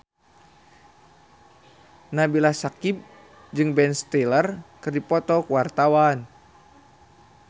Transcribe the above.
Nabila Syakieb jeung Ben Stiller keur dipoto ku wartawan